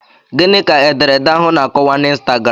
Gịnị ka ederede ahụ na-akọwa na ịnstagram?